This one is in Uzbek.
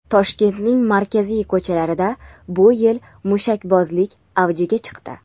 Toshkentning markaziy ko‘chalarida bu yil mushakbozlik avjiga chiqdi.